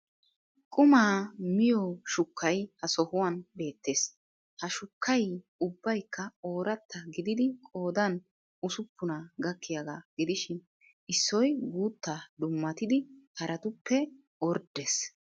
Qumaa miyo shukkay ha sohuwan beettees. Ha shukkay ubbaykka ooratta gididi qoodan usuppunaa gakkiyagaa gidishin issoy guuttaa dummatidi haraatupp orddres.